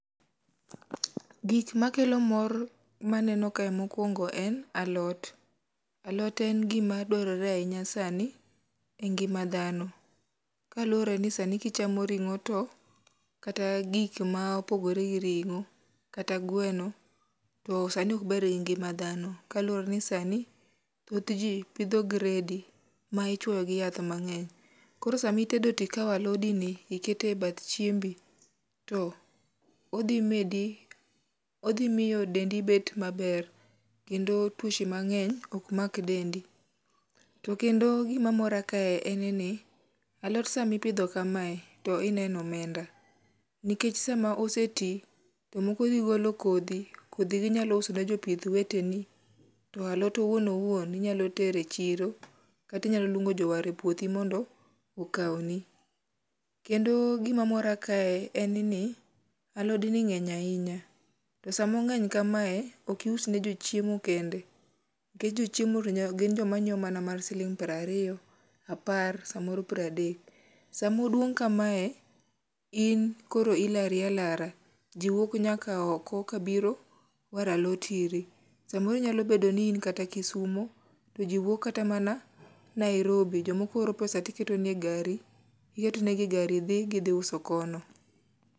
gik makelo mor maneno kae mokuongo en alot, alot en gi a dwarore ahinya sani e ngima dhano kaluwore ni sani kichamo ringo to kata gik ma opogore gi ringo kata gweno to sani ok ber gi ngima dhano kaluwore ni sani ji pidhi gredi ma ichuoyo gi yath mang'eny, koro sama itedo to ikawo alodi ni iketo e bath chiembi to odhi miyo dendi bet maber kendo tuoche mang'eny ok mak dendi, to kendo gima mora kae en ni alot sami pidho kamae to ineno omenda nikech sama ose ti to moko dhi golo kodhi ,kodhi go inyalo uso ne jopith weteni ,to alot owuon wouon inyalo tere chiro kata inyalo luongo jowar e puodhi mondo okawni ,kendo gima mora kae en ni alod ni ng'eny ahinya to sama ongeny kamae ok ius ne jo chiemo kende nikech jochiemo to gin joma nyiewo mana mar siling piero ariyo apar samoro piero adek, sama oduong kamae in koro ilari alara, ji wuok nyaka oko ka biro dwaro alot iri ,samoro nyalo bedo ni in kata kisumo to jiwuok kata mana Nairobi jomoko oro pesa to iketo ne gi e gara dhi gidhi uso kono